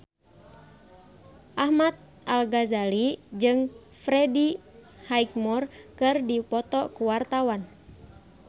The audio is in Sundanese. Ahmad Al-Ghazali jeung Freddie Highmore keur dipoto ku wartawan